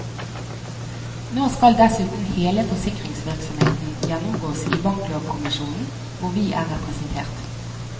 Nå skal dessuten hele forsikringsvirksomheten gjennomgås i banklovkommisjonen, hvor vi er representert.